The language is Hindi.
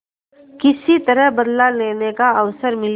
किसी तरह बदला लेने का अवसर मिले